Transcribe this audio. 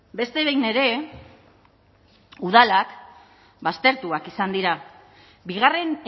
beste behin ere udalak baztertuak izan dira bigarren